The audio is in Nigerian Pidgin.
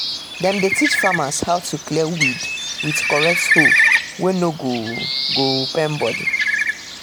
dem dey teach farmer how to clear weed with correct hoe wey no go go pain body.